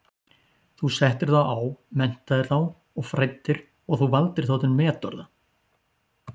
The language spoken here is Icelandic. Þú settir þá á, menntaðir þá og fræddir og þú valdir þá til metorða.